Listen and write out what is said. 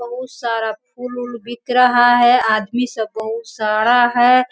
बहुत सारा फूल ऊल बिक रहा हैं आदमी सब बहुत सारा है।